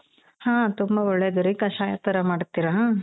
ಹ ತುಂಬಾ ಒಳ್ಳೇದು ರೀ ಕಷಾಯ ತರ ಮಾಡ್ತೀರಾ?